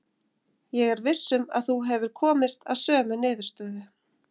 Ég er viss um að þú hefur komist að sömu niðurstöðu.